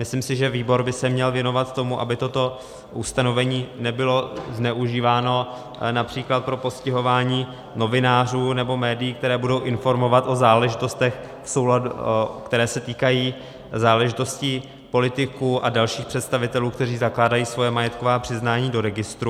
Myslím si, že výbor by se měl věnovat tomu, aby toto ustanovení nebylo zneužíváno například pro postihování novinářů nebo médií, kteří budou informovat o záležitostech, které se týkají záležitostí politiků a dalších představitelů, kteří zakládají svoje majetková přiznání do registru.